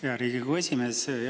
Hea Riigikogu esimees!